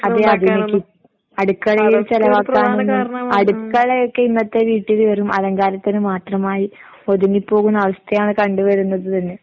അതെ അടുക്കളയിൽ ചെലവാക്കാനൊന്നും അടുക്കളയൊക്കെ ഇന്നത്തെ വീട്ടില് വെറും അലങ്കാരത്തിന് മാത്രമായി ഒതുങ്ങിപ്പോകുന്ന അവസ്ഥയാണ് കണ്ടുവരുന്നത് തന്നെ.